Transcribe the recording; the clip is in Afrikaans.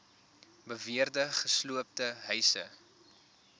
beweerde gesloopte huise